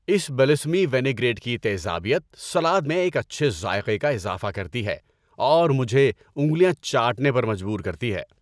اس balsamic vinaigrette کی تیزابیت salad میں ایک اچھے ذائقے کا اضافہ کرتی ہے اور مجھے انگلیاں چاٹنے پر مجبور کرتی ہے۔